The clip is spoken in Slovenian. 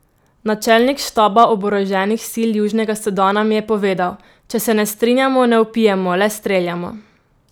Načelnik štaba oboroženih sil Južnega Sudana mi je povedal: "Če se ne strinjamo, ne vpijemo, le streljamo.